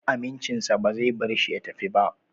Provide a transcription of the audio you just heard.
Amincinsa ba zai bar shi ya tafi ba